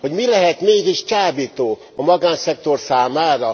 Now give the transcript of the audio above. Hogy mi lehet mégis csábító a magánszektor számára?